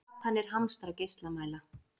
Japanar hamstra geislamæla